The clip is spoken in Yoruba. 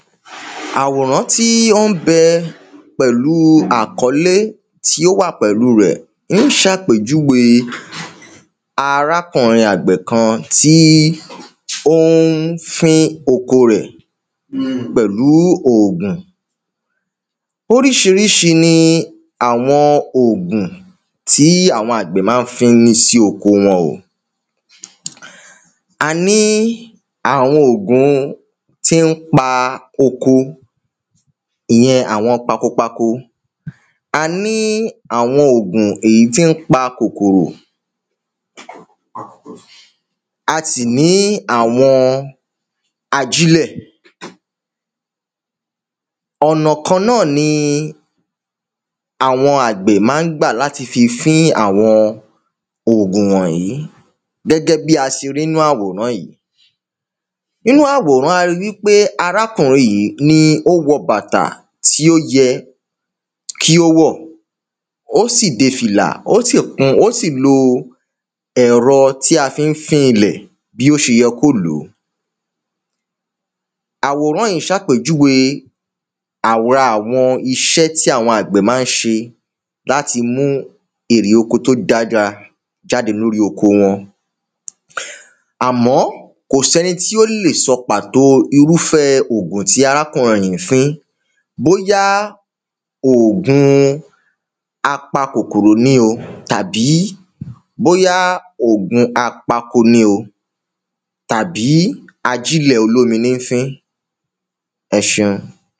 àwòrán tí ó ń bẹ pẹ̀lú àkọ́lé tí ó wà pẹ̀lú rẹ̀ é ń ṣàpèjúwe arákùnrin àgbẹ̀ kan tí ó ń fín oko rẹ̀ pẹ̀lú òògùn oríṣiríṣi ni àwọn ògùn tí àwọn àgbẹ̀ ḿa ń fín sí oko wọn o a ní àwọn ògùn tí ń pa oko ìyẹn àwọn pakopako a ní àwọn ògùn èyí ti ń pa kòkòrò a sì ní àwọn ajílẹ̀ ọ̀nà kan náà ni àwọn àgbẹ̀ ḿa ń gbà láti fí fín àwọn ògùn wọ̀nyí gẹ́gẹ́ bí́ a ṣe rí nú àwòrán yí inú àwòrán a ri wíkpé arákùnrin yí ni ó wọ bàtà tí ó yẹ kí ó wọ́ ó sì de fìlà ó sì lo ẹ̀rọ tí a fí ń fín ilẹ̀ bí ó ṣe yẹ kó lò àwòrán yí ṣàpèjúwe àwòrán àwọn iṣẹ ti àwọn àgbẹ̀ má ń ṣe láti mú èrè oko tó dára jáde lórí oko woṇ àmọ́ kò sí ẹni tí ó lè sọ pàtó irúfẹ́ ogun ti arákùnrin yí fín bóyá òògun a pa kòkòrò ní o tàbí bóyá ògun apako ní o tàbí ajílẹ̀ olómi ní ń fí ẹ ṣeun